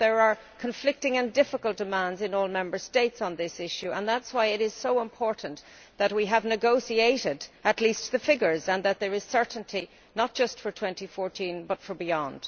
But there are conflicting and difficult demands in all Member States on this issue, and that is why it is so important that we have negotiated at least the figures and that there is certainty not just for 2014, but also beyond.